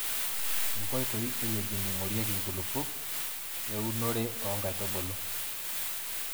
inkoitoi e wueji neingorieki inkulupuok we unore oo nkaitubulu.